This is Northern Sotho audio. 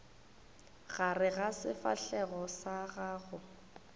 gare ga sefahlego sa gago